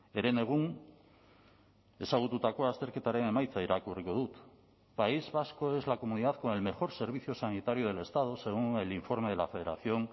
herenegun ezagututako azterketaren emaitza irakurriko dut país vasco es la comunidad con el mejor servicio sanitario del estado según el informe de la federación